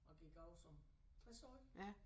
Og gik af som tresårig